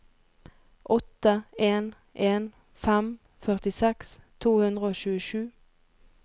åtte en en fem førtiseks to hundre og tjuesju